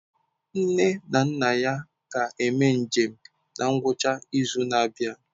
Nne na nna ya ga-eme njem na ngwụcha izu na-abịa.